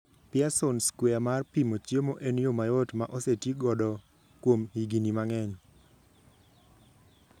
Pearson square mar pimo chiemo en yo mayot ma oseti godo kuom higini mang'eny.